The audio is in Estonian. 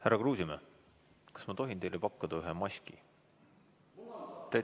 Härra Kruusimäe, kas ma tohin teile pakkuda ühe maski?